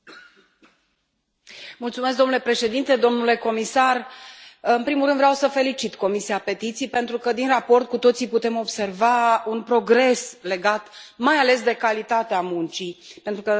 Domnule președinte, domnule comisar, în primul rând vreau să felicit Comisia pentru petiții pentru că, din raport, cu toții putem observa un progres legat mai ales de calitatea muncii, pentru că nu e vorba aici numai de cantitate.